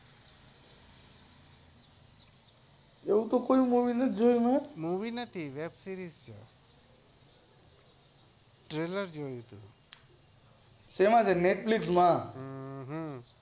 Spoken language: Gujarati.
એવું તો કોઈ movie નથી જોયું મેં movie નથી web series છે શેમાં છે netflix માં હમ્મ